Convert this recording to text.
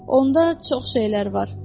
Onda çox şeylər var.